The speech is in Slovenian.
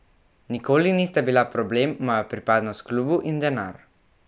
Nikoli nista bila problem moja pripadnost klubu in denar.